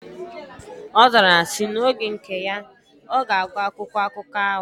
Ozara ya si: Na oge nke ya, oga agu akwụkwọ akụkọ ahu.